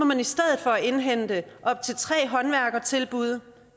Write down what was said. man i stedet for indhente op til tre håndværkertilbud det